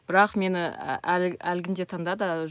бірақ мені әлгінде таңдады